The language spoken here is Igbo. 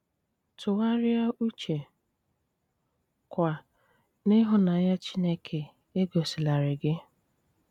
Túgháríá úchè, kwá, n'íhúnànyá Chínéké égosílárí gí.